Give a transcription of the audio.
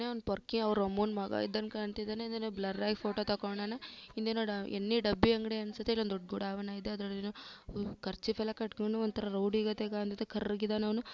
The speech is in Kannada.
ಇವನು ಪೊರ್ಕಿ ಅವ್ರ ಅಮ್ಮ ಮಗ ಇದ್ದಂಗ ಕಾಣ್ತಿದಾರೆ ಬ್ಲರ್ ಆಗಿ ಫೋಟೋ ತಕೊಂಡಿದಾನೆ. ಹಿಂದೆ ನೋಡು ಎಣ್ಣಿ ಡಬ್ಬಿ ಅಂಗಡಿ ಅನ್ಸುತ್ತೆ. ಇಲ್ಲೊಂದ್ ದೊಡ್ಡ ಪುಡವನೆ ಇದೆ ಅದ್ರಲ್ಲೇನೋ ಕರ್ಚೀಫ್ ಎಲ್ಲ ಕಟ್ಕೊಂಡು ಒಂತರ ರೌಡಿ ಗತಿ ಕಾಣ್ತಾ ಇದಾನೆ ಕರ್ಗೆ ಇದಾನೆ ಅವ್ನು.